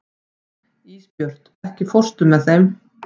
Ísbjört, ekki fórstu með þeim?